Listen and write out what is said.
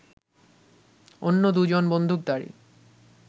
অন্য দু জন বন্দুকধারী